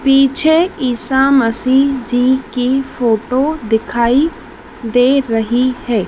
पीछे ईसा मसीह जी की फोटो दिखाई दे रही है।